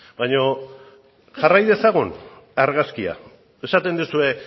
baino jarrai dezagun argazkia esaten duzue